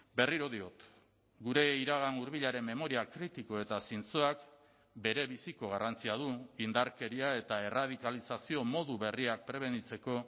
berriro diot gure iragan hurbilaren memoria kritiko eta zintzoak berebiziko garrantzia du indarkeria eta erradikalizazio modu berriak prebenitzeko